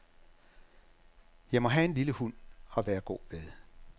Jeg må have en lille hund at være god ved.